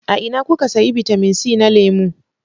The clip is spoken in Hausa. A ina kuka sayi bitamin c na lemu?